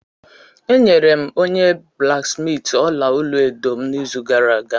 Enyere m onye blaksmiiti ọla olu edo m n'izu gara aga